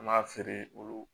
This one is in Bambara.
An b'a feere olu